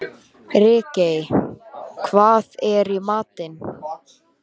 Ríkey, hvað er í matinn?